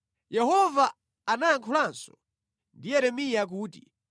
Yehova anayankhulanso ndi Yeremiya kuti,